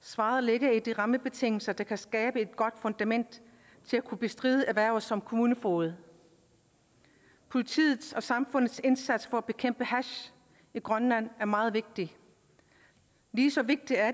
svaret ligger i de rammebetingelser der kan skabe et godt fundament til at kunne bestride erhverv som kommunefoged politiets og samfundets indsats for at bekæmpe hash i grønland er meget vigtig lige så vigtigt er